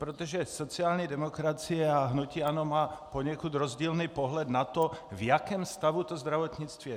Protože sociální demokracie a hnutí ANO mají poněkud rozdílný pohled na to, v jakém stavu to zdravotnictví je.